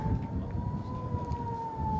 O-o, o-o, o-o!